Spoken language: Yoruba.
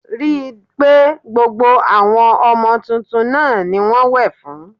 Rí i pé gbogbo àwọn ọmọ tuntun náà ni wọ́n wẹ̀ fún